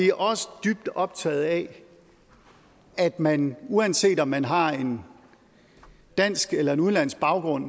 er også dybt optaget af at man uanset om man har en dansk eller udenlandsk baggrund